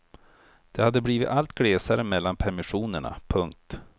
Det hade blivit allt glesare mellan permissionerna. punkt